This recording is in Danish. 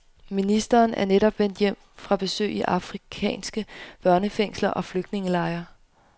Ministeren er netop vendt hjem fra besøg i afrikanske børnefængsler og flygtningelejre.